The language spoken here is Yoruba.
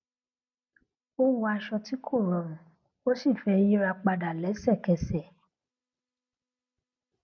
ó wọ aṣọ tí kò rọrùn ó sì fẹ yíra padà lẹsẹkẹsẹ